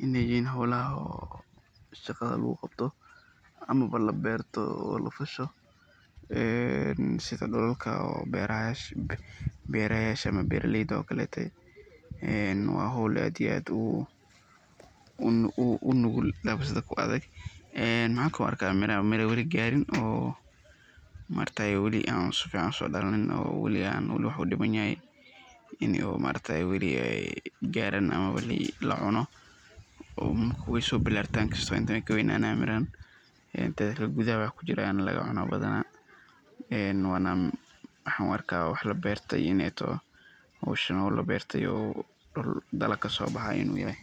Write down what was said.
yihin . xaruntan waxaa suuragal ah in ay ka mid tahay mashruucyo casri ah oo lagu taageerayo beeraleyda yaryar. Mashruucyada noocan oo kale ah waxay muhiim u yihiin horumarinta ,weyna so balartan mirahan oo gudaha waxba lagacuna ,waxan u arkaa wax la berto ineey tahay howshan waa howl laa berte oo dhul dalaag kasobahay inu yahay.